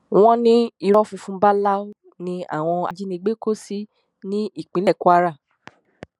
wọn ní ìró funfun báláú ní àwọn ajínigbé kò sí ní ìpínlẹ kwara